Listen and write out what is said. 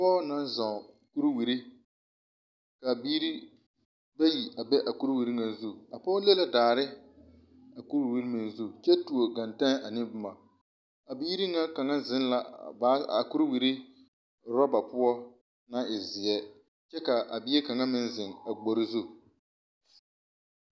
Pɔgɔ na zɔŋ kuwure ka biire bayi a be a kuwure na zuŋ. A pɔgɔ le la daare a kuwure na zu kyɛ tuo kɛntɛ ane boma. A biire na kanga zeŋ la a baagi a kuwure roba poɔ na e zie. Kyɛ ka a bie kanga zeŋ a gbore zu